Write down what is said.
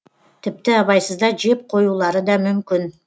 тіпті абайсызда жеп қоюлары да мүмкін